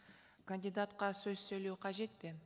кандидатқа сөз сөйлеу қажет пе